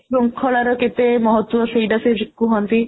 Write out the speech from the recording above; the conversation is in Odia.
ଶୃଙ୍ଖଳାର କେତେ ମହତ୍ୱ ସେଇଟା ସିଏ କୁହନ୍ତି